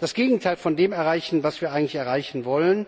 das Gegenteil von dem erreichen, was wir eigentlich erreichen wollen.